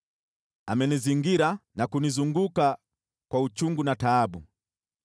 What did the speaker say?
Amenizingira na kunizunguka kwa uchungu na taabu.